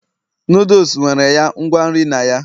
noodles nwere ya ngwa nri na ya